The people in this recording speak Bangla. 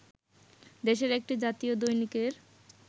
দেশের একটি জাতীয় দৈনিকের